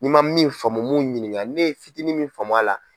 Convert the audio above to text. N'i ma min faamu mun ɲinika ne ye fitinin min faamu a la.